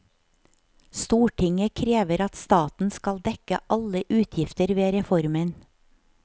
Stortinget krever at staten skal dekke alle utgifter ved reformen.